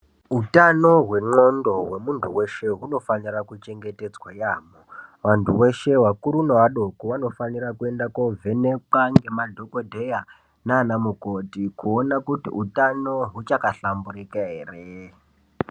Hutano hwendxondo hwemuntu weshe, hunofanire kuchengetedzwa yaamho. Vantu veshe vakuru nevadoko vanofanire kuende kunovhenekwa ngemadhogodheya nanamukoti kuona kuti utano uchakahlamburika ere.